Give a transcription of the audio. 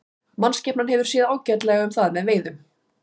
Mannskepnan hefur séð ágætlega um það með veiðum.